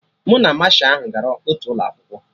Mụ na Masha ahụ gara otu ụlọ akwụkwọ